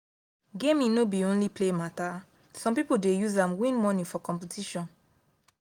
gaming no be only play matter some people dey use am win money for competition.